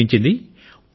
నాకు అనిపించింది